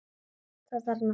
Það þarf nokkuð til!